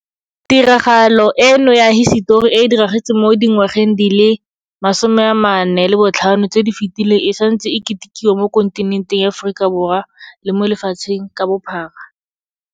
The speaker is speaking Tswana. Tiragalo eno ya hisetori e e diragetseng mo dingwageng di le 45 tse di fetileng e santse e ketikiwa mo kontinenteng ya Aforika le mo lefatsheng ka bophara.